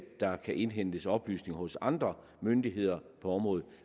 der kan indhentes oplysninger hos andre myndigheder på området